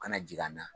Kana jigin an na